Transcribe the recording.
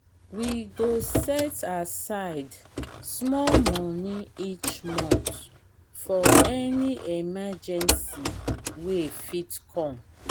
we go set aside small money each month for any emergency wey fit come.